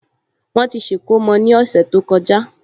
Wọ́n ti ṣe ìkómọ ní ọ̀sẹ̀ tó kọjá